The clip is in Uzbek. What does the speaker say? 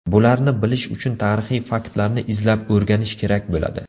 Bularni bilish uchun tarixiy faktlarni izlab o‘rganish kerak bo‘ladi.